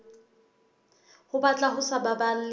ho batla ho sa baballe